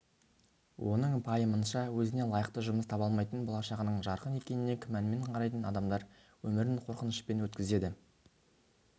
оның пайымынша өзіне лайықты жұмыс таба алмайтын болашағының жарқын екеніне күмәнмен қарайтын адамдар өмірін қорқынышпен өткізеді